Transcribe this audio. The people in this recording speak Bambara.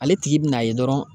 Ale tigi bin'a ye dɔrɔn